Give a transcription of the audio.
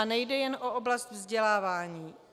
A nejde jen o oblast vzdělávání.